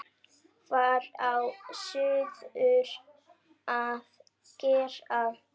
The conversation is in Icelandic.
Hvað á suður að gera?